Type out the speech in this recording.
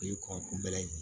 O ye kɔn kunbɛla ye